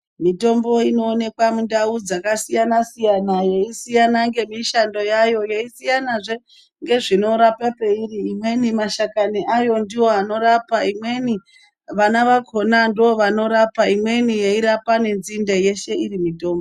Mitombo inoonekwa mundau dzakasiyana-siyana yeisiyana ngemishando yayo. Yeisiyanazve ngezvinorapa peiri. Imweni mashakani ayo ndiwo anorapa. Imweni vana vakona ndoovanorapa. Imweni yeirapa nenzinde yeshe iri mitombo.